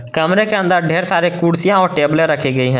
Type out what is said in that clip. कमरे के अंदर ढेर सारे कुर्सियां और टैबले रखी गई हैं।